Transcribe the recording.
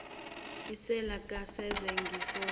iseli kasenzo ngifone